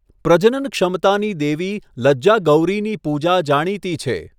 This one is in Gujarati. પ્રજનન ક્ષમતાની દેવી લજ્જા ગૌરીની પૂજા જાણીતી છે.